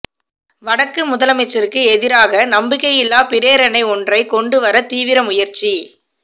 வடக்கு முதலமைச்சருக்கு எதிராக நம்பிக்கையில்லாப் பிரேரணை ஒன்றைக் கொண்டு வர தீவிர முயற்சி